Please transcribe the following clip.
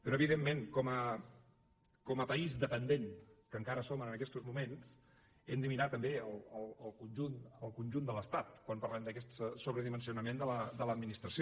però evidentment com a país dependent que encara som en aquests moments hem de mirar també el conjunt de l’estat quan parlem d’aquest sobredimensionament de l’administració